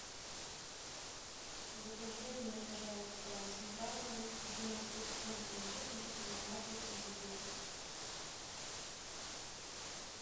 закажи мне пожалуйста сметану двенадцатипроцентной жирности марки президент